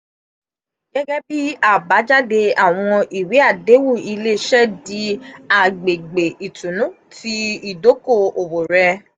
gegebi abajade awọn iwe adehun ile-iṣẹ di agbegbe itunu ti idoko-owo rẹ.